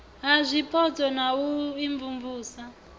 ha zwipotso na u imvumvusa